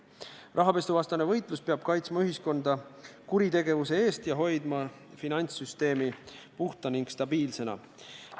Rahapesuvastane võitlus peab kaitsma ühiskonda kuritegevuse eest ja hoidma finantssüsteemi puhta ning stabiilsena.